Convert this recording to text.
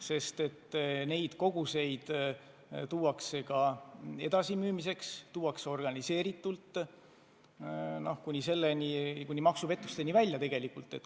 Tõesti tuuakse suuri koguseid ka edasimüümiseks, tuuakse organiseeritult, nii et asi läheb maksupettusteni välja.